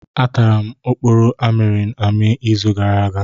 Atara m oporo amịrị amị izu gara aga.